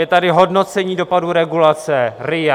Je tady hodnocení dopadů regulace RIA.